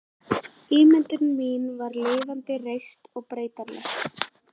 Ímyndun mín var lifandi, reist, breytileg.